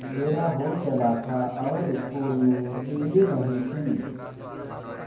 अँधेरा हो चला था और स्कूल में बिजली नहीं थी